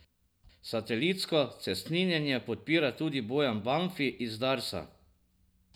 Satelitsko cestninjenje podpira tudi Bojan Banfi iz Darsa.